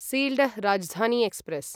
Sealdah Rajdhani express